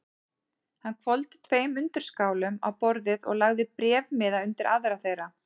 Hann hvolfdi tveim undirskálum á borðið og lagði bréfmiða undir aðra þeirra.